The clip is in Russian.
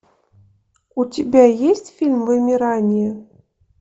у тебя есть фильм вымирание